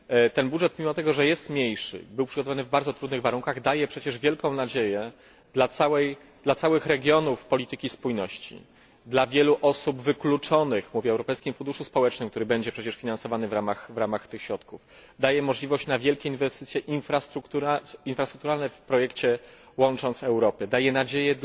Ten budżet, pomimo tego, że jest mniejszy, był przygotowywany w bardzo trudnych warunkach, daje przecież wielką nadzieję dla całych regionów polityki spójności, dla wielu osób wykluczonych myślę o Europejskim Funduszu Społecznym, który będzie przecież finansowany w ramach tych środków daje możliwości na wielkie inwestycje infrastrukturalne w projekcie Łącząc Europę, daje nadzieję